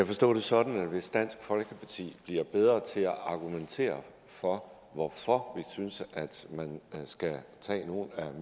forstå det sådan at hvis dansk folkeparti bliver bedre til at argumentere for hvorfor vi synes man skal tage nogle af